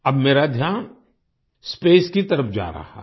अब मेरा ध्यान स्पेस की तरफ जा रहा है